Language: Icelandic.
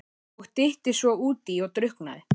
Og dytti svo útí og drukknaði!